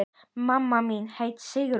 Mamma mín hét Sigrún.